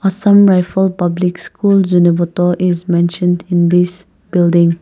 assam rifle public school zunheboto is mentioned in this building.